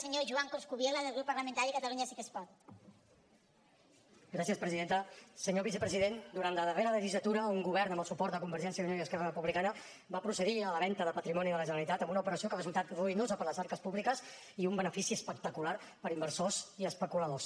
senyor vicepresident durant la darrera legislatura un govern amb el suport de convergència i unió i esquerra republicana va procedir a la venda de patrimoni de la generalitat en una operació que ha resultat ruïnosa per a les arques públiques i un benefici espectacular per a inversors i especuladors